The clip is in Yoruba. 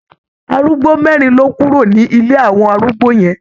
Arúgbó mẹ́rin ló kúrò ní ilé àwọn arúgbó yẹn.